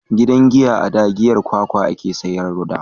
Gidan giya a da giyar kwakwa a ke sayar da wa